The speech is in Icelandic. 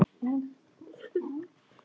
Þú ættir ekki að tala svona við mig.